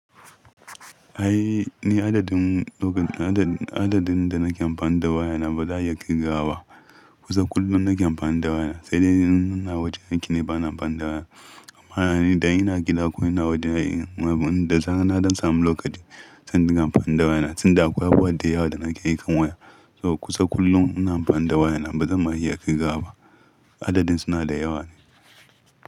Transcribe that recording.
Ai ni adadin loka, adadin da nake amfani da waya na, ba za a iya ƙirga wa ba. Kusa kullum nake amfani da waya na, sai dai in ina waje aiki ne bana amfani da waya. Amma ana ni da ina gida ko ina waje ina yin, wanda nake na don samu lokaci zan dinga amfani da waya. Sanda akwai abu da yawa da nake yi kan waya. To kusa kullum ina amfani da waya na ba zan ma iya ƙirga ba. Adadin suna da yawa.